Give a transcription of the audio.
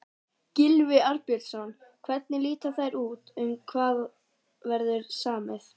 Gylfi Arnbjörnsson, hvernig líta þær út, um hvað verður samið?